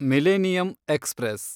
millennium express